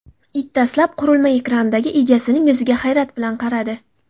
It dastlab qurilma ekranidagi egasining yuziga hayrat bilan qaradi.